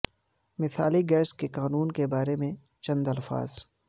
مثالی گیس کے قانون کے بارے میں چند الفاظ